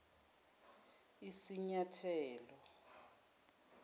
isinyathelo